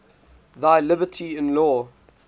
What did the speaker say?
thy liberty in law